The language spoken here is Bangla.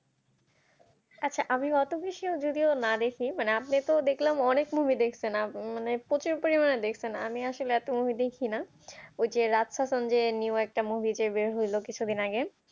আচ্ছা আমি অত বেশি ও যদিও না দেখি মানে আপনি তো দেখলাম অনেক movie দেখছেন মানে প্রচুর পরিমাণে দেখছেন আমি আসলে অত movie দেখি না ওই যে যে new একটা movie একটা বের হইলো কিছুদিন আগে